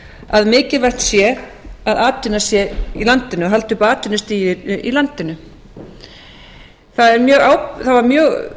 að mikilvægt sé að atvinna sé í landinu haldi uppi atvinnustigi í landinu hæstvirtur